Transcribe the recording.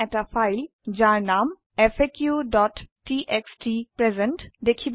আমি এটা ফাইল যাৰ নাম faqটিএক্সটি প্ৰেজেণ্ট